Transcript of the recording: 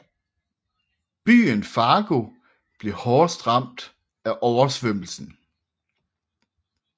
Byen Fargo blev hårdest ramt af oversvømmelsen